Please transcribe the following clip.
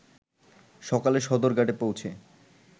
সকালে সদরঘাটে পৌঁছে